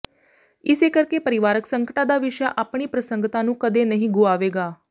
ਇਸੇ ਕਰਕੇ ਪਰਿਵਾਰਕ ਸੰਕਟਾਂ ਦਾ ਵਿਸ਼ਾ ਆਪਣੀ ਪ੍ਰਸੰਗਤਾ ਨੂੰ ਕਦੇ ਨਹੀਂ ਗੁਆਵੇਗਾ